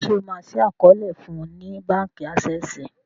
ṣe o ma ṣii àkọọlẹ fún ní bánkì Access?